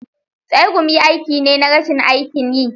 tsegumi aiki ne na rashin aikin yi.